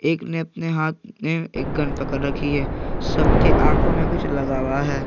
एक ने अपने हाथ में एक गन पकड़ रखी है सब के आंखों में कुछ लगा हुआ है।